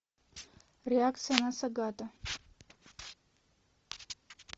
реакция на сагата